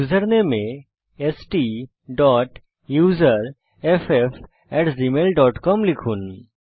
username এ STUSERFFgmailcom লিখুন